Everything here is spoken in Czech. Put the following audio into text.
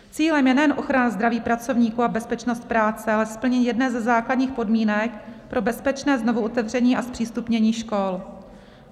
Cílem je nejen ochrana zdraví pracovníků a bezpečnost práce, ale splnění jedné ze základních podmínek pro bezpečné znovuotevření a zpřístupnění škol.